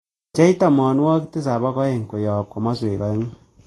Pchei tamanwogik tisap ak oeng' koyop komoswek oengu'